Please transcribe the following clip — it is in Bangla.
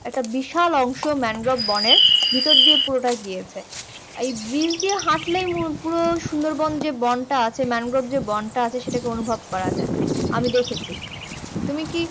একটা বিশাল অংশ ম্যানগ্রোভ বনের ভেতর দিয়ে পুরোটা গিয়েছে। এই bridge দিয়ে হাঁটলেই পুরো সুন্দরবন যে বনটা আছে ম্যানগ্রোভ যে বনটা আছে সেটাকে অনুভব করা যায়। আমি দেখেছি তুমি কি